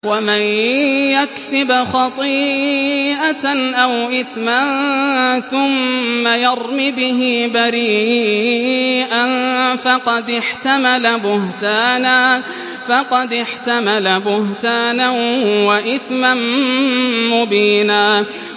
وَمَن يَكْسِبْ خَطِيئَةً أَوْ إِثْمًا ثُمَّ يَرْمِ بِهِ بَرِيئًا فَقَدِ احْتَمَلَ بُهْتَانًا وَإِثْمًا مُّبِينًا